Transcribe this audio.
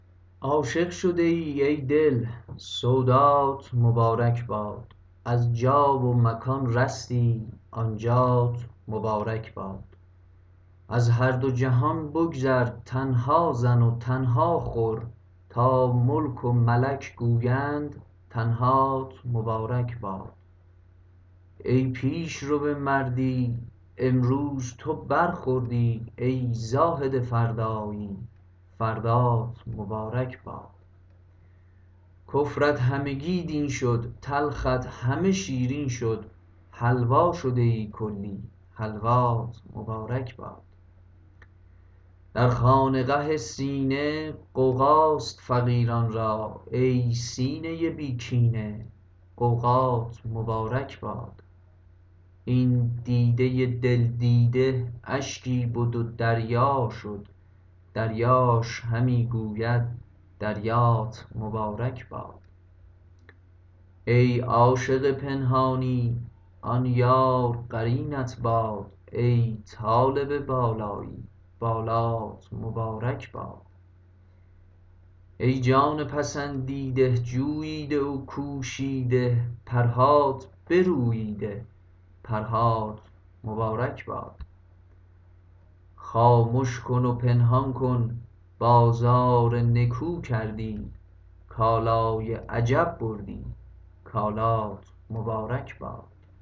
عاشق شده ای ای دل سودات مبارک باد از جا و مکان رستی آن جات مبارک باد از هر دو جهان بگذر تنها زن و تنها خور تا ملک و ملک گویند تنهات مبارک باد ای پیش رو مردی امروز تو برخوردی ای زاهد فردایی فردات مبارک باد کفرت همگی دین شد تلخت همه شیرین شد حلوا شده ای کلی حلوات مبارک باد در خانقه سینه غوغاست فقیران را ای سینه بی کینه غوغات مبارک باد این دیده دل دیده اشکی بد و دریا شد دریاش همی گوید دریات مبارک باد ای عاشق پنهانی آن یار قرینت باد ای طالب بالایی بالات مبارک باد ای جان پسندیده جوییده و کوشیده پرهات بروییده پرهات مبارک باد خامش کن و پنهان کن بازار نکو کردی کالای عجب بردی کالات مبارک باد